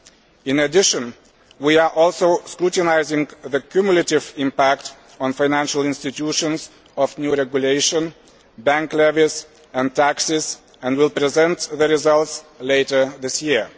In addition, we are also scrutinising the cumulative impact on financial institutions of new regulation, bank levies and taxes, and will present the results later this year.